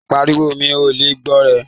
Pàríwọ̀, mi o lè gbọ̀ rẹ̀!